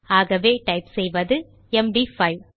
ஆகவே டைப் செய்வது எம்டி5